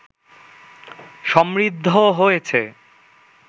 সমৃদ্ধ হয়েছে